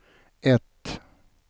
ett